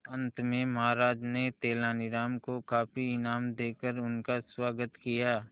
अंत में महाराज ने तेनालीराम को काफी इनाम देकर उसका स्वागत किया